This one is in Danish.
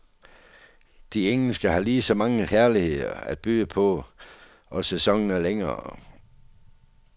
De engelske har lige så mange herligheder at byde på, og sæsonen er længere.